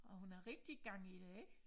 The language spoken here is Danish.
Og hun har rigtig gang i det ikke